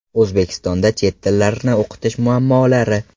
O‘zbekistonda chet tillarini o‘qitish muammolari.